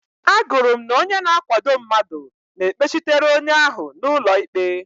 Agụrụ m na onye na-akwado mmadụ na-ekpechitere onye ahụ n'ụlọ ikpe.